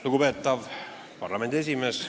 Lugupeetav parlamendi esimees!